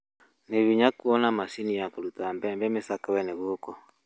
Nĩ hinya kũona macini ya kũruta mbembe mĩcakwe-inĩ gũkũ